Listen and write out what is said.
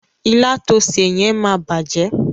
Ilá to sè yẹn máa bàjẹ́.